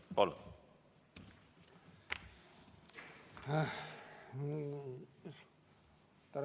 Palun!